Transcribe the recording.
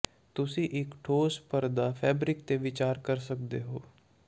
ਤੁਸੀਂ ਇੱਕ ਠੋਸ ਪਰਦਾ ਫੈਬਰਿਕ ਤੇ ਵਿਚਾਰ ਕਰ ਸਕਦੇ ਹੋ